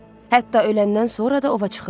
Hətta öləndən sonra da ova çıxırlar.